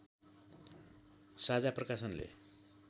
साझा प्रकाशनले